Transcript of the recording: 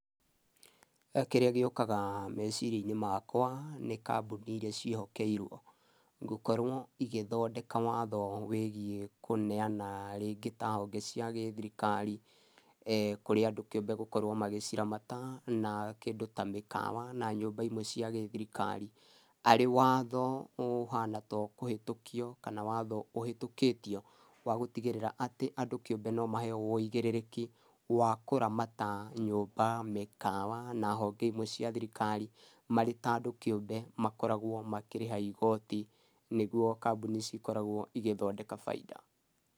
Kĩrĩa gĩũkaga meciria-inĩ makwa nĩ kambuni iria ciĩhokeirwo gũkorwo igĩthondeka watho wĩgiĩ kũneana rĩngĩ ta honge cia gĩthirikarĩ kũrĩ andũ kĩũmbe gũkorwo magĩciramata, na kĩndũ ta mĩkawa na nyũmba imwe cia gĩthirikari, arĩ watho ũhana ta ũkũhĩtũkio kana watho ũhĩtũkĩtio wa gũtigĩrĩra atĩ andũ kĩũmbe no maheyo ũigĩrĩrĩki wa kũramata nyumba mĩkawa na honge imwe cia thirikari, marĩ ta andũ kĩũmbe makoragwo makĩrĩha igoti, nĩguo kambuni ici ikoragwo igĩthondeka bainda.